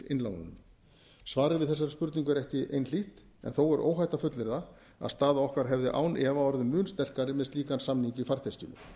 innlánunum svarið við þessari spurningu er ekki einhlítt en þó er óhætt að fullyrða að staða okkar hefði án efa orðið mun sterkari með slíkan samning í farteskinu